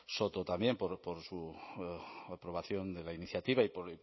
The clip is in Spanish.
soto también por su aprobación de la iniciativa y poco